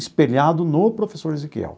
Espelhado no professor Ezequiel.